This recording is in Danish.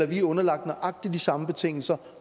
vi er underlagt nøjagtig de samme betingelser